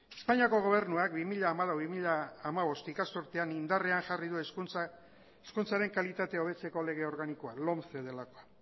espainiako gobernuak bi mila hamalau bi mila hamabost ikasturtean indarrean jarri du hizkuntzaren kalitatea hobetzeko lege organikoa lomce delakoa